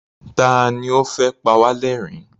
Ta ní ó fẹ́ pa wá lẹ́rìn-ín?